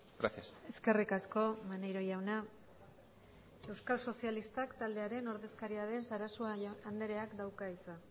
gracias eskerrik asko maneiro jauna euskal sozialistak taldearen ordezkaria den sarasua andreak dauka hitza